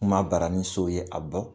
Kuma baraninso ye a dɔn